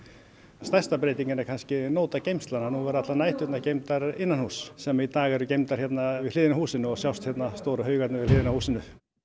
stærsta breytingin er kannski nótageymslan að nú verða allar næturnar geymdar sem í dag eru geymdar við hliðina á húsinu og sjást hérna stóru haugarnir við hliðina á húsinu